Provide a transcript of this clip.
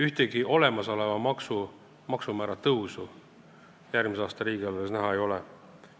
Ühtegi olemasoleva maksumäära tõusu järgmise aasta riigieelarves näha ei ole.